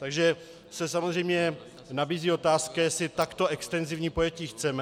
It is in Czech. Takže se samozřejmě nabízí otázka, jestli takto extenzivní pojetí chceme.